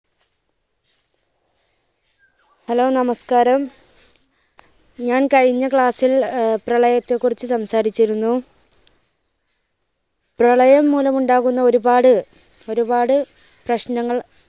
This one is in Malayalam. hello നമസ്കാരം ഞാൻ കഴിഞ്ഞ class ൽ പ്രളയത്തെ കുറിച്ച് സംസാരിച്ചിരുന്നു . പ്രളയം മൂലം ഉണ്ടാകുന്ന ഒരുപാട് ഒരുപാട് പ്രശ്നങ്ങൾ